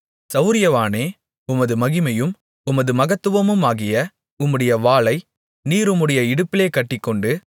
சவுரியவானே உமது மகிமையும் உமது மகத்துவமுமாகிய உம்முடைய வாளை நீர் உம்முடைய இடுப்பிலே கட்டிக்கொண்டு